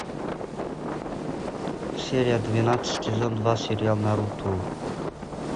серия двенадцать сезон два сериал наруто